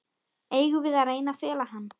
Eigum við að reyna að fela hann?